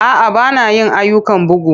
A'a, ba na yin ayyukan bugu.